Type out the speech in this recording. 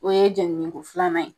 O ye jɛniniko filanan ye